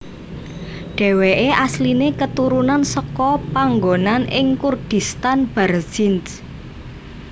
Dheweke asline keturunan seka panggonan ing Kurdistan Barzinj